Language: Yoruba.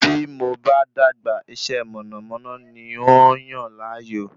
Bí mo bá dàgbà, iṣẹ́ mọ̀nàmọ́ná ní ń óò yàn láàyò